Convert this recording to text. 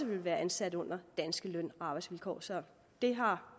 ville være ansat under danske løn og arbejdsvilkår så det har